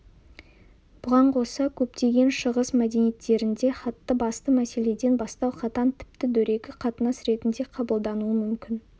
бұған қоса көптеген шығыс мәдениеттерінде хатты басты мәселеден бастау қатаң тіпті дөрекі қатынас ретінде қабылдануы мүмкін